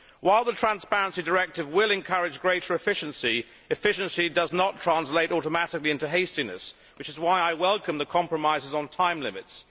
While the transparency directive will encourage greater efficiency, efficiency does not translate automatically into hastiness, which is why I welcome the compromises on time limits.